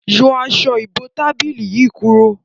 Yọ Aṣọ ìbotábílì yí kúrò!